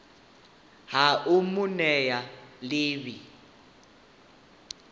ha u mu nea ḽivi